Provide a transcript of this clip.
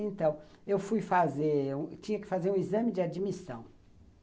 Então, eu fui fazer, eu tinha que fazer um exame de admissão.